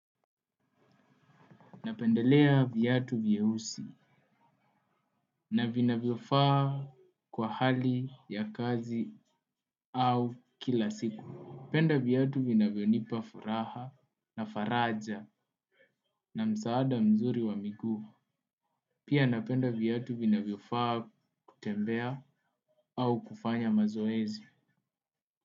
Napendelea viatu vieusi na vinavyo faa kwa hali ya kazi au kila siku. Penda viatu vinavyo nipa furaha na faraja na msaada mzuri wa miguu. Pia napenda viatu vinavyo faa kutembea au kufanya mazoezi.